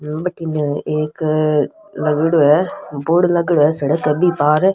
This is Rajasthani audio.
बठन एक लागेड़ा है बोर्ड लागेडॉ है सड़क है बि पार --